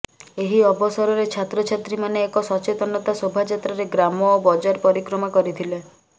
ଏହି ଅବସରରେ ଛାତ୍ରଛାତ୍ରୀମାନେ ଏକ ସଚେତନତା ଶୋଭାଯାତ୍ରାରେ ଗ୍ରାମ ଓ ବଜାର ପରିକ୍ରମା କରିଥିଲେ